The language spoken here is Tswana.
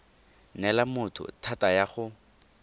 neela motho thata ya go